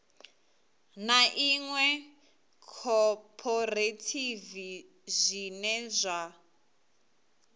ḽa iṅwe khophorethivi zwine zwa